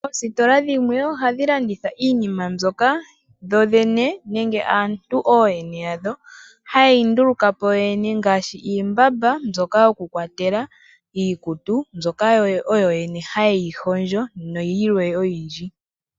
Oositola dhimwe oha dhilanditha iinima mbyoka dhodhene nenge aantu ooyene yadho ha yeyi ndulukapo yoyene ngaashi iimbamba mbyoka kukwatelwa iikutu mbyoka oyo yene ha yeyi hondjo, nayilwe oyindji.